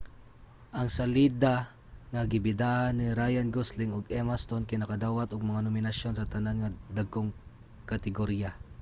ang salida nga gibidahan ni ryan gosling ug emma stone kay nakadawat og mga nominasyon sa tanan nga dagkong kategorya